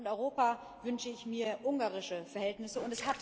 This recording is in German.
Für Deutschland und Europa wünsche ich mir ungarische Verhältnisse.